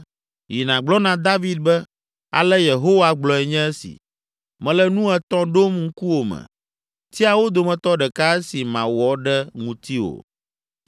“Yi nàgblɔ na David be, ‘Ale Yehowa gblɔe nye esi: mele nu etɔ̃ ɖom ŋkuwò me. Tia wo dometɔ ɖeka esi mawɔ ɖe ŋutiwò.’ ”